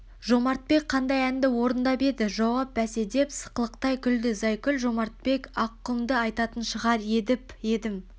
жомартбек қандай әнді орындап еді жауап бәсе деп сықылықтай күлді зайкүл жомартбек аққұмдыайтатын шығар едп едім